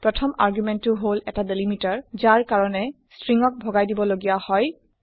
১ম আৰ্গুমেণ্ট টো হল এটা ডেলিমিটাৰ যাৰ কাৰণে ষ্ট্ৰিং ক ভগাই দিব লগিয়া হয়